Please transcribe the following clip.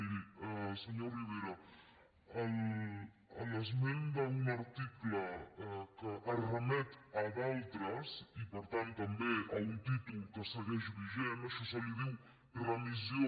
miri senyor rivera l’esment d’un article que remet a d’altres i per tant també a un títol que segueix vigent a això se li diu remissió